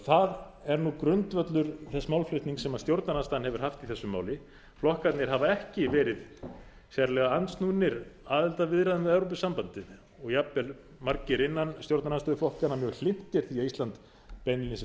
það er nú grundvöllur þess málflutnings sem stjórnarandstaðan hefur haft í þessu máli flokkarnir hafa ekki verið sérlega andsnúnir aðildarviðræðum við evrópusambandið og jafnvel margir innan stjórnarandstöðuflokkanna mjög hlynntir því að ísland beinlínis